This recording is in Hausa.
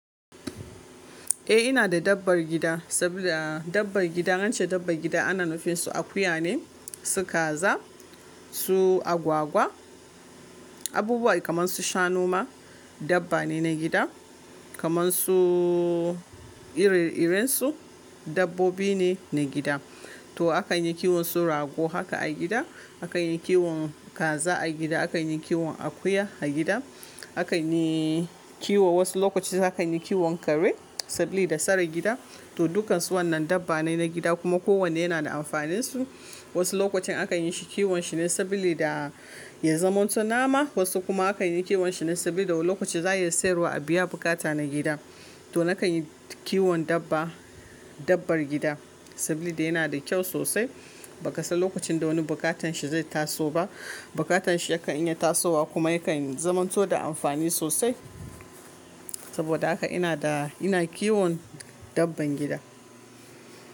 Eh ina da dabbar gida, saboda dabbar gida in ance dabbar gida ana nufin su akuya ne, su kaza, su agwagwa. Abubuwa kaman su shanu ma dabba ne na gida. Kaman su ire-irensu, dabbobi ne na gida to akan yi kiwon su rago haka a gida. Akan yi kiwon kaza a gida. Akan yi kiwon akuya a gida. Akan yi kiwo wasu lokaci akan yi kiwon kare saboda sare gida. To dukkan su wannan dabba ne na gida kuma ko wanne yana da amfanin su. Wasu lokacin akan yi shi kiwon shi ne sabili da ya zamanto nama. Wasu kuma akan yi kiwon shi ne saboda lokacin za a iya sayarwa a biya bukata na gida. To nakan yi kiwon dabba dabbar gida sabili da yana da kyau sosai. Ba ka san lokacin da wani bukatan shi zai taso ba. Bukatan shi yakan iya tasowa kuma yakan zamanto da amfani sosai. Saboda haka ina da ina kiwon dabbar gida.